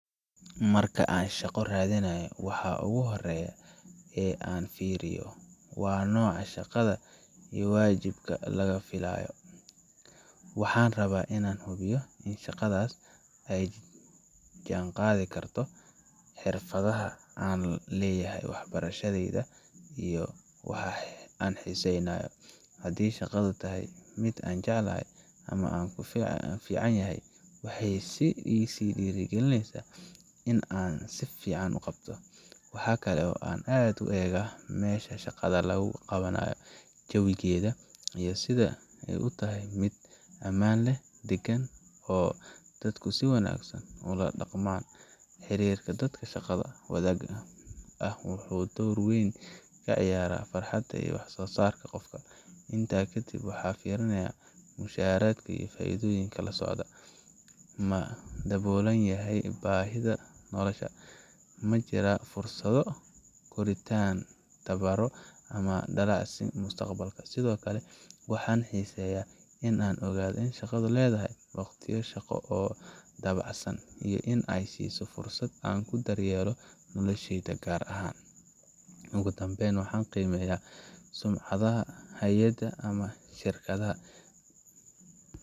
Marka aan shaqo raadinayo, waxa ugu horreeya ee aan fiiriyo waa nooca shaqada iyo waajibaadka laga filayo. Waxaan rabaa in aan hubiyo in shaqadaas ay la jaanqaadi karto xirfadaha aan leeyahay, waxbarashadayda, iyo waxa aan xiisaynayo. Haddii shaqadu tahay mid aan jecelahay ama aan ku fiicanahay, waxay i sii dhiirigelinaysaa in aan si fiican u qabto. Waxa kale oo aan aad u eegaa meesha shaqada lagu qabanayo, jawigeeda, iyo sida ay u tahay mid ammaan ah, deggan, oo dadku si wanaagsan ula dhaqmaan. Xiriirka dadka shaqada wadaaga ah wuxuu door weyn ka ciyaaraa farxadda iyo wax-soosaarka qofka. Intaa kadib, waxaan fiiriyaa mushaharka iyo faa’iidooyinka la socda ma daboolayaan baahiyaha nolosha? Ma jiraan fursado koritaan, tababarro, ama dallacsiin mustaqbalka? Sidoo kale, waxaan xiisaynayaa in aan ogaado in shaqadu leedahay waqtiyo shaqo oo dabacsan iyo in ay i siiso fursad aan ku daryeelo noloshayda gaarka ah. Ugu dambeyn, waxaan qiimeeyaa sumcadda hay’adda ama shirkadda.